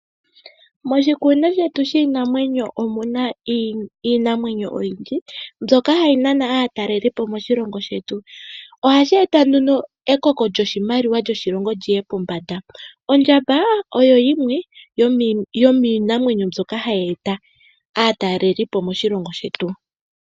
Moshikunino shetu shiinamwenyo omuna iinamenyo oyindji mbyoka hayi nana aatalelipo moshilongo shetu . Ihashi eta nduno ekoko lyoshimaliwa lyoshilongo lyi ye pombanda . Ondjamba oyo yimwe yomiinamwenyo mbyoka hayi eta aatalelipo moshilongo shetu.